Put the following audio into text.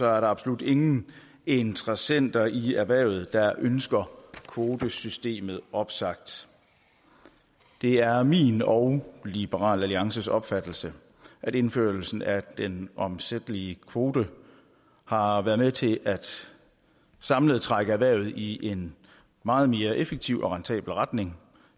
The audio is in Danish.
er der absolut ingen interessenter i erhvervet der ønsker kvotesystemet opsagt det er min og liberal alliances opfattelse at indførelsen af den omsættelige kvote har været med til samlet at trække erhvervet i en meget mere effektiv og rentabel retning